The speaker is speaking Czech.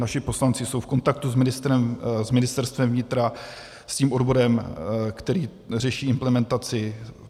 Naši poslanci jsou v kontaktu s Ministerstvem vnitra, s tím odborem, který řeší implementaci.